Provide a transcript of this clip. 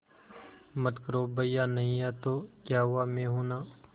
मत करो भैया नहीं हैं तो क्या हुआ मैं हूं ना